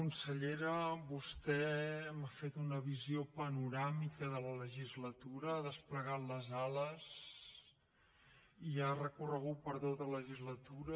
consellera vostè m’ha fet una visió panoràmica de la legislatura ha desplegat les ales i ha recorregut per tota la legislatura